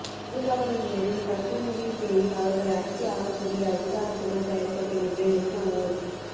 பெரும்பான்மையினரின் தற்துணிபின் பேரில் அவர்கள் அடக்கியாளக்கூடிய அதிகாரத்துடன் தயாரிக்கப்படுகின்ற எந்த ஓர்